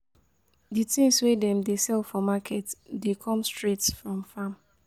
Di tins wey dem dey sell for market dey come straight from farm.